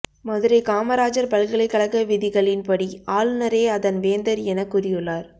மதுரை காமராஜர் பல்கலைக்கழக விதிகளின் படி ஆளுநரே அதன் வேந்தர் என கூறியுள்ளார்